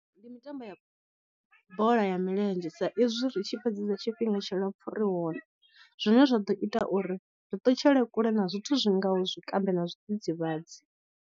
Ndi mitambo ya bola ya milenzhe sa izwi ri tshi fhedzesa tshifhinga tshilapfu ri hone, zwine zwa ḓo ita uri ri ṱutshele kule na zwithu zwi ngaho zwikambi na zwidzidzivhadzi.